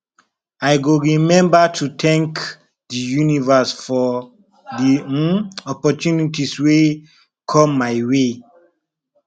i go remember to thank the universe for the um opportunities wey come my way